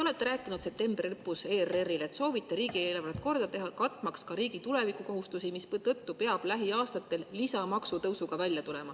Te rääkisite septembri lõpus ERR-ile, et soovite riigieelarvet korda teha, katmaks ka riigi tulevikukohustusi, mistõttu peab lähiaastatel välja tulema lisamaksutõusuga.